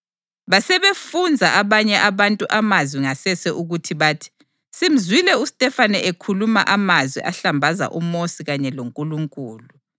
Basebefunza abanye abantu amazwi ngasese ukuthi bathi, “Simzwile uStefane ekhuluma amazwi ahlambaza uMosi kanye loNkulunkulu.”